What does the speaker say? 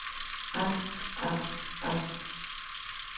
angst angst angst